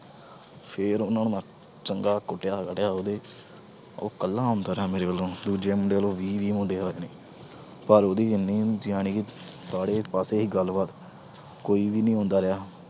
ਫਿਰ ਉਹਨਾਂ ਨੂੰ ਮੈਂ ਚੰਗਾ ਕੁੱਟਿਆ, ਰਗੜਿਆ ਉਹਦੇ। ਉਹ ਕੱਲਾ ਆਉਂਦਾ ਰਿਹਾ ਮੇਰੇ ਵੱਲੋਂ, ਦੂਜੇ ਮੁੰਡੇ ਵੱਲੋਂ ਵੀਹ-ਵੀਹ ਮੁੰਡੇ ਲੱਗਣੇ ਪਰ ਉਹਦੀ ਇੰਨੇ ਸੀ ਗੱਲਬਾਤ, ਕੋਈ ਨੀ ਹੁੰਦਾ ਰਿਹਾ।